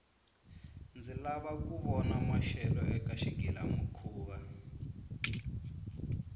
ndzi lava kuya vona maxelo eka xigila mihkuva